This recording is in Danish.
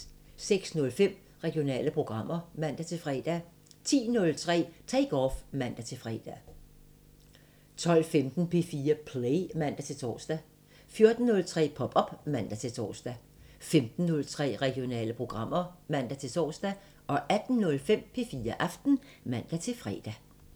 06:05: Regionale programmer (man-fre) 10:03: Take Off (man-fre) 12:15: P4 Play (man-tor) 14:03: Pop op (man-tor) 15:03: Regionale programmer (man-tor) 18:05: P4 Aften (man-fre)